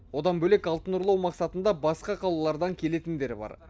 одан бөлек алтын ұрлау мақсатында басқа қалалардан келетіндер бар